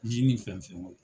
Jenni fɛn fɛn bɛ yen.